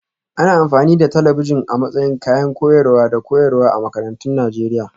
Ana amfani da talabijin a matsayin kayan koyarwa da koyarwa a makarantun Najeriya